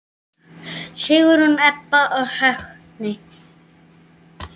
Sigrún, Heba og Högni.